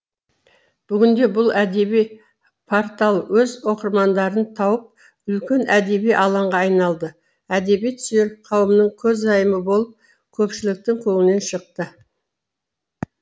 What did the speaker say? бүгінде бұл әдеби портал өз оқырмандарын тауып үлкен әдеби алаңға айналды әдебиет сүйер қауымның көзайымы болып көпшіліктің көңілінен шықты